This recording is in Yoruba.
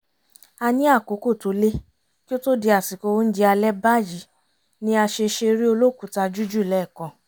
a ní àkókò tó lé kí ó to di àsìkò oúnjẹ alẹ́ báyìí ni a ṣe ṣeré olókùúta jújù lẹ́ẹ̀kan